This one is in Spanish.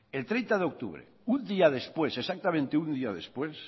el treinta de octubre un día después exactamente un día después